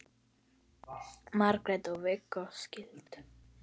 Margrét og Viggó skildu.